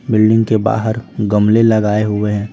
Building के बाहर गमले लगाए हुए हैं।